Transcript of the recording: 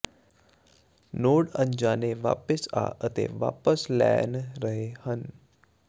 node ਅਣਜਾਣੇ ਵਾਪਿਸ ਆ ਅਤੇ ਵਾਪਸ ਲੈਣ ਰਹੇ ਹਨ